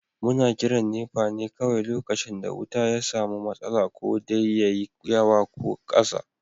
Muna kiran NEPA ne kawai lokacin da wuta ya samu matsala, ko dai yayi yawa ko ƙasa.